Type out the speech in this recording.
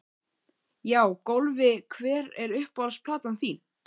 Já Golfi Hver er uppáhalds platan þín?